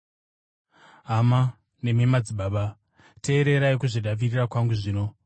“Hama nemi madzibaba, teererai kuzvidavirira kwangu zvino.”